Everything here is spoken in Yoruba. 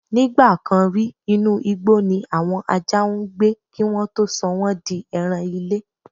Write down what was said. Nígbà kan rí, inú igbó ni àwọn ajá ń gbé kí wọ́n tó sọ wọ́n di ẹran-ilé.